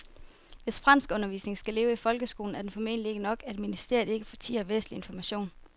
Hvis franskundervisningen skal leve i folkeskolen er det formentlig ikke nok, at ministeriet ikke fortier væsentlig information.